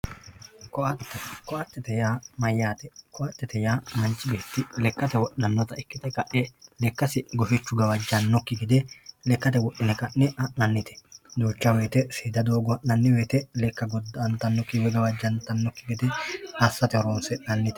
koatte koattete yaa mayyate koatte manchi beetti lekkate wodhanota ikkite kae lekkasi gufichu gawajjannokki gede lekkate wodhine ka'ne ha'nannite duucha wote seeda doogo ha'nanni wote leka goda'antannokki woyi gawajantannokki gede assate horonsi'nannite.